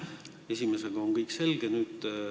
Esimese küsimusega on kõik selge.